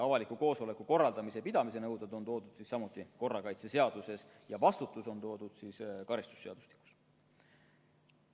Avaliku koosoleku korraldamise ja pidamise nõuded on toodud samuti korrakaitseseaduses ja vastutus on toodud karistusseadustikus.